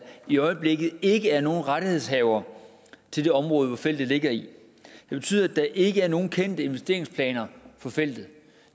i øjeblikket ikke er nogen rettighedshavere til det område hvor feltet ligger det betyder at der ikke er nogen kendte investeringsplaner for feltet